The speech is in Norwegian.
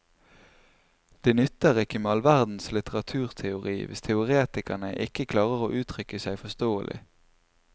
Det nytter ikke med all verdens litteraturteori hvis teoretikerne ikke klarer å uttrykke seg forståelig.